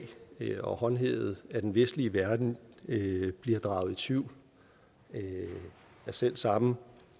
og håndhævet af den vestlige verden bliver draget i tvivl af selv samme